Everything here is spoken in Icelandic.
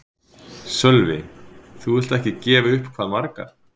Sölvi: Þú vilt ekki gefa upp hvað margar?